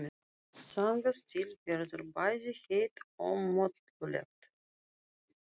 Þangað til verður bæði heitt og mollulegt.